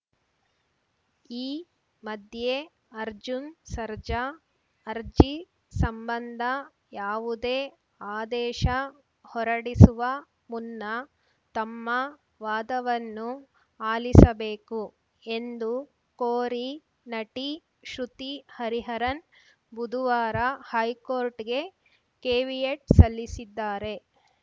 ಈ ಮಧ್ಯೆ ಅರ್ಜುನ್‌ ಸರ್ಜಾ ಅರ್ಜಿ ಸಂಬಂಧ ಯಾವುದೇ ಆದೇಶ ಹೊರಡಿಸುವ ಮುನ್ನ ತಮ್ಮ ವಾದವನ್ನೂ ಆಲಿಸಬೇಕು ಎಂದು ಕೋರಿ ನಟಿ ಶ್ರುತಿ ಹರಿಹರನ್‌ ಬುದುವಾರ ಹೈಕೋರ್ಟ್‌ಗೆ ಕೇವಿಯಟ್‌ ಸಲ್ಲಿಸಿದ್ದಾರೆ